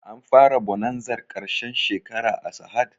An fara bonanzar ƙarshen shekara a sahad?